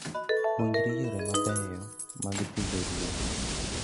Puonjri yore mabeyo mag pidho ruedhi.